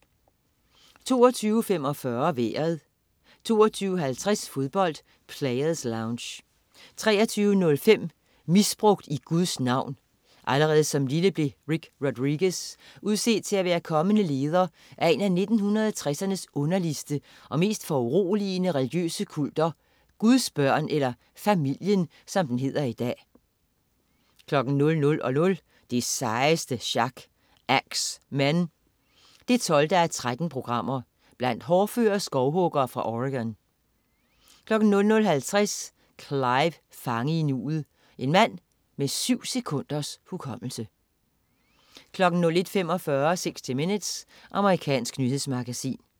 22.45 Vejret 22.50 Fodbold: Players Lounge 23.05 Misbrugt i Guds navn. Allerede som ganske lille blev Rick Rodriguez udset til at være kommende leder af en af 1960'ernes underligste og mest foruroligende religiøse kulter, Guds Børn, eller Familien, som den hedder i dag 00.00 Det sejeste sjak. Ax Men 12:13. Blandt hårdføre skovhuggere fra Oregon 00.50 Clive, fange i nuet. En mand med syv sekunders hukommelse 01.45 60 Minutes. Amerikansk nyhedsmagasin